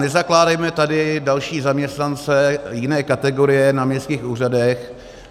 Nezakládejme tady další zaměstnance jiné kategorie na městských úřadech.